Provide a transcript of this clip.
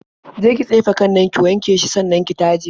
Je ki tsefe kan nan, ki wanke shi sannan ki taje.